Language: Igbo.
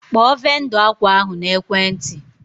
Kpọọ vendọ akwa ahụ n'ekwenti!